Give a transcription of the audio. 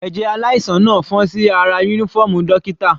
Ẹ̀jẹ̀ aláìsàn náà fọ́n sí ara uniform dókítà.